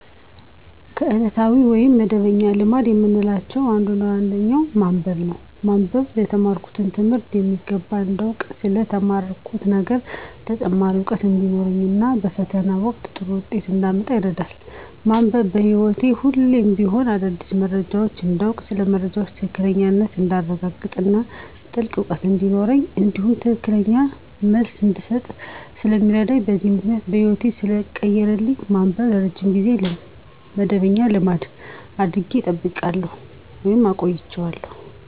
ከዕለታዊ ወይም መደበኛ ልማድ ከምላቸው አንዱና ዋነኛው ማንበብ ነው። ማንበብ የተማርኩትን ትምህርት በሚገባ እንዳውቅ ስለ ተማርኩት ነገር ተጨማሪ እውቀት እንዲኖረኝ እና በፈተና ወቅት ጥሩ ውጤት እንዳመጣ ይረዳኛል። ማንበብ በህይወቴ ሁሌም ቢሆን አዳዲስ መረጃዎችን እንዳውቅ ስለ መረጃዎች ትክክለኛነት እንዳረጋግጥ እና ጥልቅ እውቀት እንዲኖረኝ እንዲሁም ትክክለኛ መልስ እንድሰጥ ስለሚረዳኝ በዚህም ምክንያት ህይወቴን ሰለቀየረልኝ ማንበብን ለረጅም ጊዜ መደበኛ ልማድ አድርጌ ጠብቄ አቆይቸዋለሁ።